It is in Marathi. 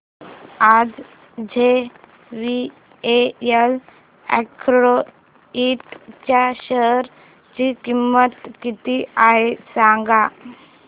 आज जेवीएल अॅग्रो इंड च्या शेअर ची किंमत किती आहे सांगा